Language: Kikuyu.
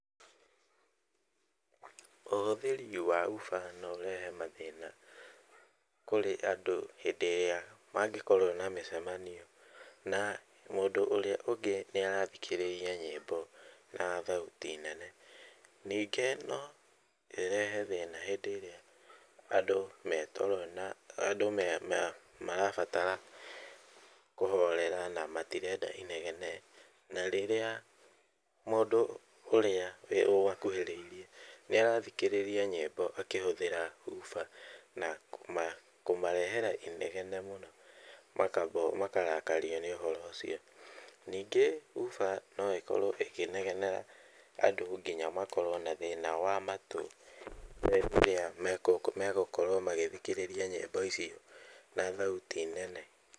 Ũhũthĩri wa hoofer noũrehe mathĩna kũrĩ andũ hangĩkorwo na mĩcemanio, na mũndũ ũrĩa ũngĩ nĩarathikĩrĩria nyĩmbo na thauti nene, ningĩ no ĩrehe thĩna hĩndĩ ĩrĩa andũ metoro na andũ marabatara kũhorera na matirenda inegene na rĩrĩa mũndũ ũrĩa akuhĩrĩirie nĩarathikĩrĩria nyĩmbo akĩhũthĩra hoofer na kũmarehere inegene mũno makarakario nĩ ũhoro ũcio, ningĩ hoofer noĩkorwe ũkĩnegenera andũ nginya makorwo na thĩna na matũ ríĩĩa megũkorwo magĩthikĩrĩria nyĩmbo ici na thauti nene .